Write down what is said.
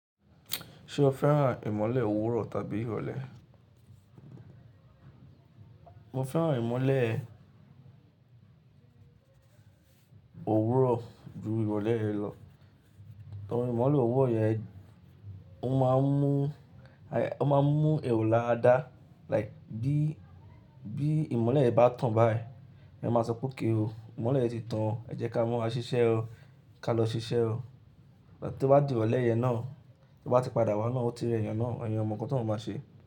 Ṣé o fẹ́ràn ìmọ̀le òwúrọ̀ tàbí ìrọ̀lẹ́? Mo fẹ́ràn ìmọ̀le òwúrọ̀ ju ìrọ̀lẹ́ lọ. Ehn ìmọ̀le òwúrọ̀ yẹn, ó máa ń mú, ó máa ń mú èrò lára dá. Like bí, bí ìmọ̀le rẹ bá tàn báyìí, ẹ máa sọ pé okay o, ìmọ̀le ti tan, ẹ jẹ́ ká mọ́ a ṣiṣẹ́ o, ká lọ ṣiṣẹ́ o. Ìgbà tí ó bá di ìrọ̀lẹ́ yẹn náà, tí ó bá ti padà wá náà, ó ti rẹ èèyàn náà, èèyàn mọ̀ nǹkan tóun bá ṣe.